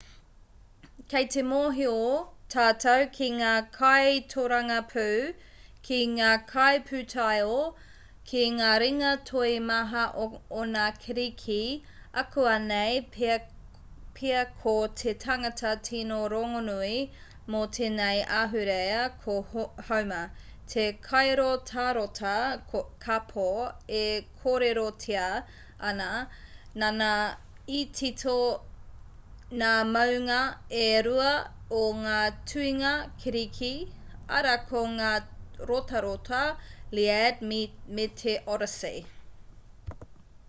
kei te mōhio tātou ki ngā kaitōrangapū ki ngā kaipūtaiao ki ngā ringa toi maha o ngā kiriki ākuanei pea ko te tangata tino rongonui mō tēnei ahurea ko homer te kairotarota kāpō e kōrerotia ana nāna i tito ngā mounga e rua o ngā tuhinga kiriki arā ko ngā rotarota lliad me te odyssey